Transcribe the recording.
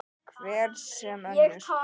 Hver sem önnur.